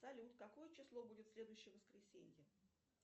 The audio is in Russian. салют какое число будет следующее воскресенье